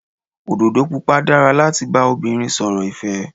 Òdòdó Pupa dára láti bá obìnrin sọ̀rọ̀ ìfẹ́.